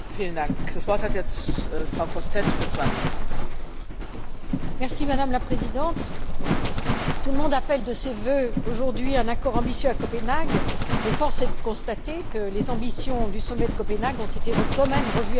Madame la Présidente, tout le monde appelle de ses vœux, aujourd'hui, un accord ambitieux à Copenhague, mais force est de constater que les ambitions du sommet de Copenhague ont quand même été revues à la baisse ces dernières semaines, en raison notamment des réticences américaines et chinoises.